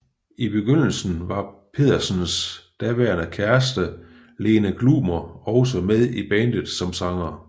I begyndelsen var Pedersens daværende kæreste Lene Glumer også med i bandet som sanger